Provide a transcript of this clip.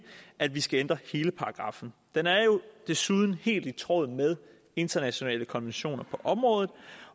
at vi skal ændre hele paragraffen den er jo desuden helt i tråd med internationale konventioner på området